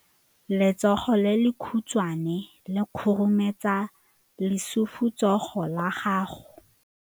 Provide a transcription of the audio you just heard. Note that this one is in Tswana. Letsogo le lekhutshwane le khurumetsa lesufutsogo la gago.